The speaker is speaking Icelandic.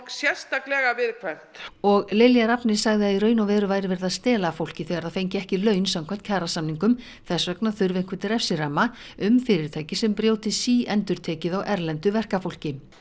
sérstaklega viðkvæmt og Lilja Rafney sagði að í raun og veru væri verið að stela af fólki þegar það fengi ekki laun samkvæmt kjarasamningum þess vegna þurfi einhvern refsiramma um fyrirtæki sem brjóti síendurtekið á erlendu verkafólki